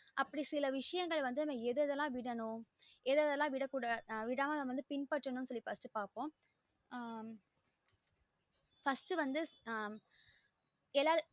அப்டி சில விசையங்கள் வந்து நம்ம எது எது எல்லாம் விடனும் எது எது எல்லாம் விடாது நம்ம பின்பட்றதும்